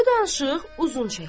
Bu danışıq uzun çəkdi.